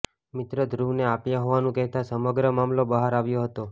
મિત્ર ધ્રુવને આપ્યા હોવાનું કહેતા સમગ્ર મામલો બહાર આવ્યો હતો